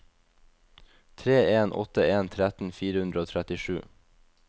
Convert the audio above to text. tre en åtte en tretten fire hundre og trettisju